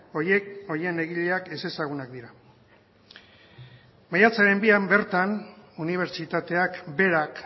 horiek horien egileak ezezagunak dira maiatzaren bian bertan unibertsitateak berak